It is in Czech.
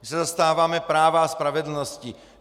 My se zastáváme práva a spravedlnosti.